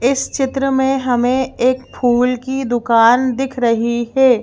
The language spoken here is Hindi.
इस चित्र में हमें एक फूल की दुकान दिख रही है।